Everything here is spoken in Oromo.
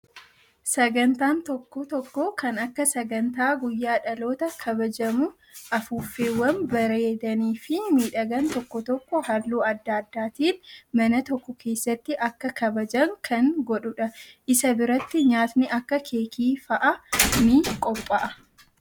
Sagantaan tokko tokko kan akka sagantaa guyyaa dhalootaa kabajamu afuuffeewwan bareedanii fi miidhagan tokko tokko halluu adda addaatiin mana tokko keessatti akka Kabajan kan godhudha. Isa biratti nyaatni akka keekii fa'aa ni qophaa'a.